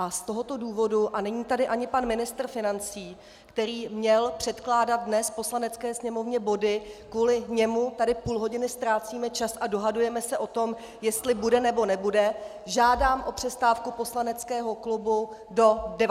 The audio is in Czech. A z tohoto důvodu - a není tady ani pan ministr financí, který měl předkládat dnes Poslanecké sněmovně body, kvůli němu tady půl hodiny ztrácíme čas a dohadujeme se o tom, jestli bude, nebo nebude - žádám o přestávku poslaneckého klubu do 19 hodin.